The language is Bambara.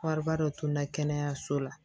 Wariba dɔ tun na kɛnɛyaso la